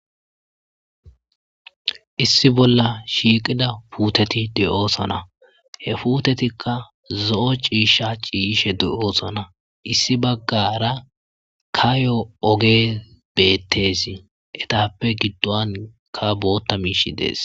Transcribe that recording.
issi bolla shiiqida puuteti de7oosana he puutetikka zo7o ciisha ciyishe de7oosana issi baggara kayo oge beettes etappe giddon ka bootta miishi dees